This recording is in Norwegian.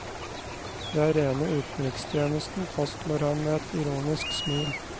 Det er rene utenrikstjenesten, fastslår han med et ironisk smil.